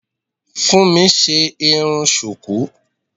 Funmi ṣe irun sùkú.